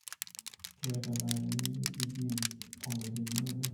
keeta taata ene wueji e gym olirerio oleng